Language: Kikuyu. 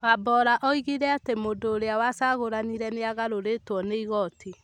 Wambora oigire atĩ mũndũ ũrĩa wacagũranire nĩ agarũrĩtwo nĩ igooti.